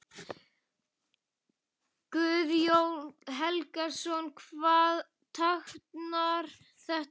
Guðjón Helgason: Hvað táknar þetta?